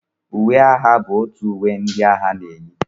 Uwe agha bụ uwe ndị otu ndị agha na-eyi